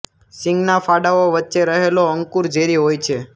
શીંગના ફાડાઓ વચ્ચે રહેલો અંકુર ઝેરી હોય છે